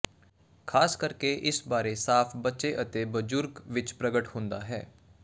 ਖ਼ਾਸ ਕਰਕੇ ਇਸ ਬਾਰੇ ਸਾਫ਼ ਬੱਚੇ ਅਤੇ ਬਜ਼ੁਰਗ ਵਿੱਚ ਪ੍ਰਗਟ ਹੁੰਦਾ ਹੈ